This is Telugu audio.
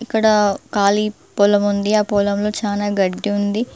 ఇక్కడ కాళీ పొలం ఉంది ఆ పొలంలో చానా గడ్డి ఉంది.